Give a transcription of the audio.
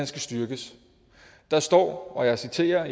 skal styrkes der står og jeg citerer